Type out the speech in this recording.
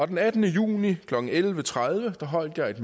den attende juni klokken elleve tredive holdt jeg et